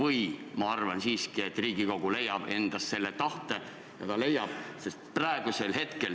Aga ma arvan siiski, et Riigikogu leiab endas tahte seda muuta.